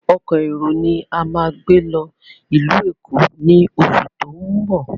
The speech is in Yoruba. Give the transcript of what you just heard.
Ọkọ̀ èrò ni a máa gbé lọ ìlú Èkó ni oṣù tó ń bọ̀.